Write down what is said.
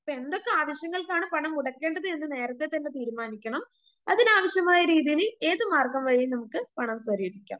ഇപ്പ എന്തൊക്കെ ആവശ്യങ്ങൾക്കാണ് പണം മുടക്കേണ്ടത് എന്ന് നേരത്തെ തന്നെ തീരുമാനിക്കണം അതിനാവശ്യമായ രീതിയിൽ ഏത് മാർഗം വഴിയും നമുക്ക് പണം സ്വരൂപിക്കാം.